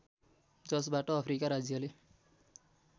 जसबाट अफ्रिका राज्यले